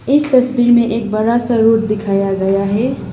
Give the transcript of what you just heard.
इस तस्वीर में एक बड़ा सा रोड दिखाया गया है।